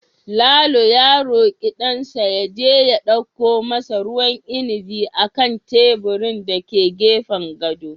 Lalo ya roki dansa ya je ya dauko masa ruwan inabi a kan teburin da ke gefen gadon